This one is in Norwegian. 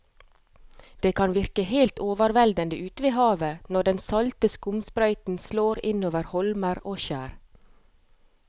Det kan virke helt overveldende ute ved havet når den salte skumsprøyten slår innover holmer og skjær.